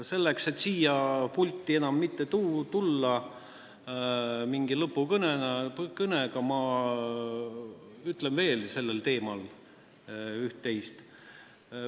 Selleks et siia pulti enam mitte mingi lõpukõnega tulla, ütlen ma sellel teemal veel üht-teist.